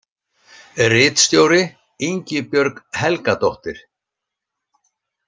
Ritstjóri Ingibjörg Helgadóttir.